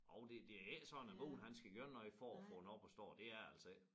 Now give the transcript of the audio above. Jo det det er ikke sådan at bonden han skal gøre noget for at få den op at stå det er det altså ikke